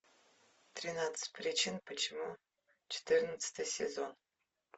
тринадцать причин почему четырнадцатый сезон